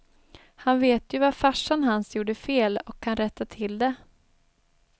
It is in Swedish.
Han vet ju vad farsan hans gjorde fel och kan rätta till det.